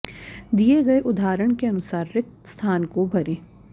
दिये गये उदाहरण के अनुसार रिक्त स्थान को भरें